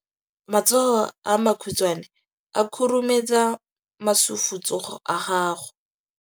Matsogo a makhutshwane a khurumetsa masufutsogo a gago.